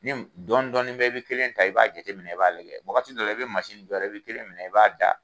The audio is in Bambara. Ni dɔɔnin dɔɔnin bɛɛ i bi kelen ta, i b'a jateminɛ, i b'a lajɛ, wagati dɔ la, i bɛ jɔ a la, i bi kelen minɛ i b'a da